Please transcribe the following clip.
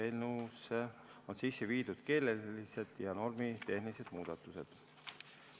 Eelnõusse on sisse viidud keelelised ja normitehnilised muudatused.